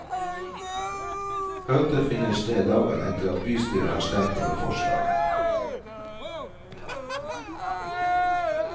Møtet finner sted dagen etter at bystyret har stemt over forslaget.